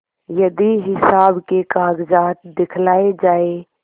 यदि हिसाब के कागजात दिखलाये जाएँ